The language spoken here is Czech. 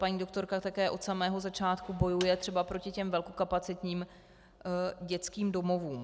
Paní doktorka také od samého začátku bojuje třeba proti těm velkokapacitním dětským domovům.